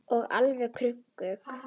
Og alveg krunk!